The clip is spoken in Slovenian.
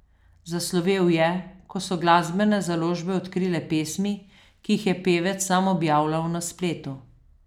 Zaslovel je, ko so glasbene založbe odkrile pesmi, ki jih je pevec sam objavljal na spletu.